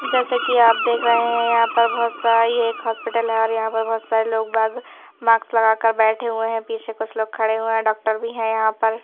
जैसे कि आप देख रहे हैं यहाँ पर बहुत सा ये एक हॉस्पिटल हैं और यहाँ पर बहुत सारे लोग बाग माक्स लगाकर बैठे हुए हैं पीछे कुछ लोग खड़े हुए हैं डॉक्टर भी हैं यहाँ पर--